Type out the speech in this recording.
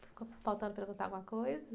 Ficou faltando perguntar alguma coisa?